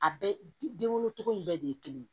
A bɛɛ den wolo cogo in bɛɛ de ye kelen ye